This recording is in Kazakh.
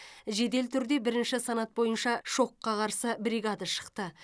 жедел түрде бірінші санат бойынша шокқа қарсы бригада шықты